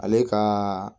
Ale ka